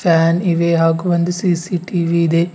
Fan ಇವೆ ಹಾಗು ಒಂದು ಸಿ_ಸಿ_ಟಿ_ವಿ ಇದೆ.